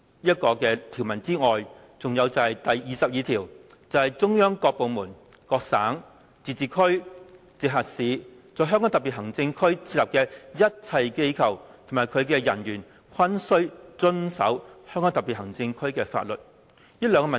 "除此之外，它亦違反第二十二條，即"中央各部門、各省、自治區、直轄市在香港特別行政區設立的一切機構及其人員均須遵守香港特別行政區的法律。